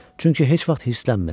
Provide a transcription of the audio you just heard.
Çünki heç vaxt hirslənmir.